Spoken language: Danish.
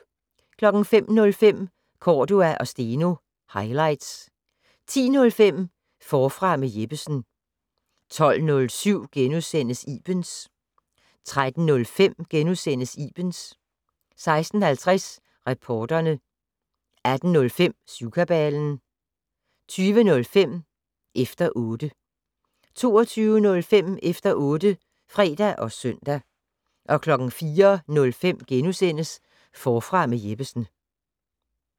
05:05: Cordua & Steno - highlights 10:05: Forfra med Jeppesen 12:07: Ibens * 13:05: Ibens * 16:50: Reporterne 18:05: Syvkabalen 20:05: Efter 0tte 22:05: Efter otte (fre og søn) 04:05: Forfra med Jeppesen *